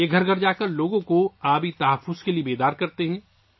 وہ گھر گھر جا کر لوگوں کو پانی کے تحفظ سے آگاہ کرتے ہیں